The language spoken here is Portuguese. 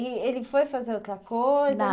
E ele foi fazer outra coisa